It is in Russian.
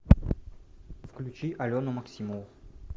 включи алену максимову